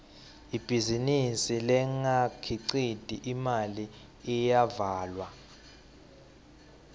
ibhizinisi lengakhiciti imali iyavalwa